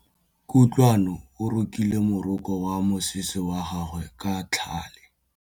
Kutlwanô o rokile morokô wa mosese wa gagwe ka tlhale.